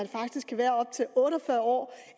faktisk kan være op til otte og fyrre år